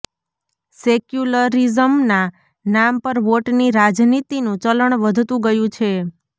સેક્યુલરિઝમના નામ પર વોટની રાજનીતિનું ચલણ વધતું ગયું છે